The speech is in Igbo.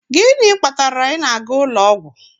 Gịnị kpatara ị na-aga ụlọ ọgwụ?